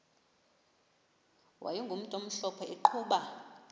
wayegumntu omhlophe eqhuba